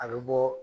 A bɛ bɔ